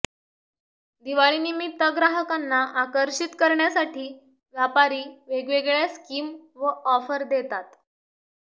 दिवाळीनिमित्त ग्राहकांना आकर्षित करण्यासाठी व्यापारी वेगवेगळ्या स्किम व ऑफर देतात